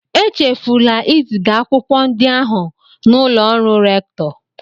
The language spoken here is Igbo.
Echefula iziga akwụkwọ ndị ahụ n'ụlọ ọrụ rèktọ